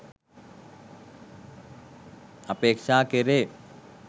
අපේක්ෂා කෙරේ.